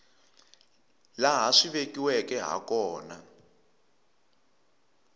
laha swi vekiweke ha kona